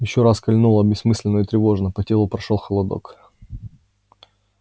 его ещё раз кольнуло бессмысленно и тревожно по телу прошёл холодок